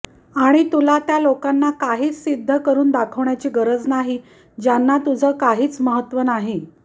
आणि तुला त्या लोकांना काहीच सिद्ध करून दाखवण्याची गरज नाही ज्यांना तुझं काहीच महत्व नाही